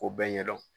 K'o bɛɛ ɲɛ dɔn